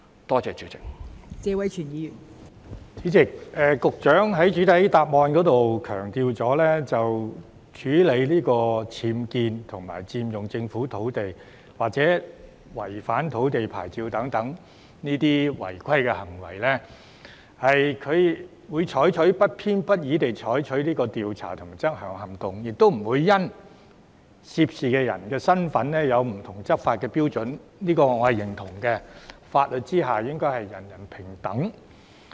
代理主席，局長的主體答覆強調在處理僭建物、佔用政府土地或違反土地牌照等違規行為上，局方會不偏不倚地採取調查和執管行動，亦不會因為涉事人士的身份而採用不同的執法標準，我認同這種做法，法律之下應是人人平等。